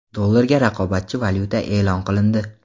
Dollarga raqobatchi valyuta e’lon qilindi.